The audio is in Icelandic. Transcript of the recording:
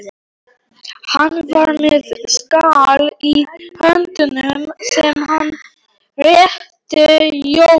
Hann var með skál í höndunum sem hann rétti Jóru.